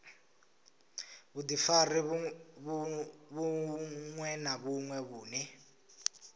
vhudifari vhuṅwe na vhuṅwe vhune